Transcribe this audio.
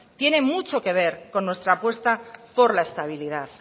tiene mucho que ver con nuestra apuesta por la estabilidad